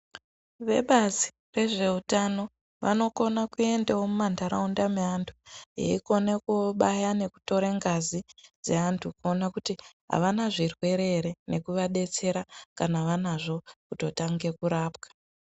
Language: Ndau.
Vebazi rezveutano vanokone kuendao mumantharaunda meanthu veikone koobaya nekutora ngazi dzeanthu kuona kuti avana zvirwere ere nekuvadetsera kana vanozvo vototange kurapwa.